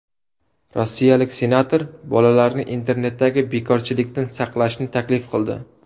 Rossiyalik senator bolalarni internetdagi bekorchilikdan saqlashni taklif qildi.